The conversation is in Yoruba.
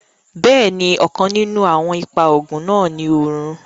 Bẹ́ẹ̀ni, ọ̀kàn ninún awọn ìpà oogun náà ní orun